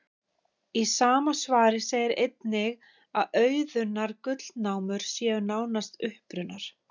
Í sama svari segir einnig að auðunnar gullnámur séu nánast uppurnar.